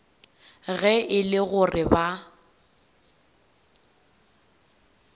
ge e le gore ba